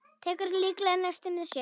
Tekur líklega nesti með sér.